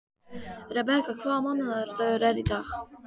Rebekka, hvaða mánaðardagur er í dag?